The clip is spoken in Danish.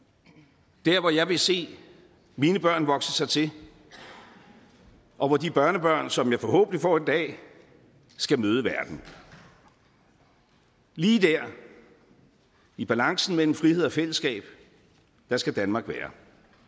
det er der hvor jeg vil se mine børn vokse til og hvor de børnebørn som jeg forhåbentlig får en dag skal møde verden lige der i balancen mellem frihed og fællesskab skal danmark være